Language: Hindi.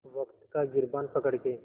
वक़्त का गिरबान पकड़ के